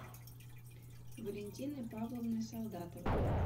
валентиной павловной солдатовой